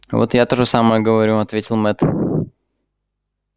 вот и я то же самое говорю ответил мэтт